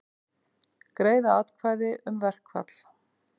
Greiða atkvæði um verkfall